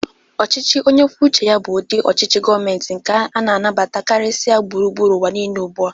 Ọchịchị onyekwucheya bụ ụdị ọchịchị gọmenti nke a na-batara karịsịa gbụrugbụru uwa niile ugbụa.